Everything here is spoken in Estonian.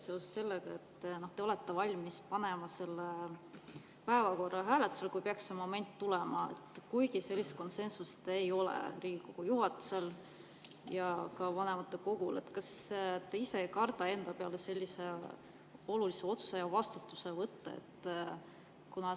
Seoses sellega, et te olete valmis panema päevakorra hääletusele, kui see moment peaks tulema, kuigi sellist konsensust Riigikogu juhatuses ja ka vanematekogus ei ole – kas te ei karda sellise olulise otsuse eest vastutust enda peale võtta?